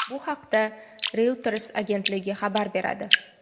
Bu haqda Reuters agentligi xabar beradi.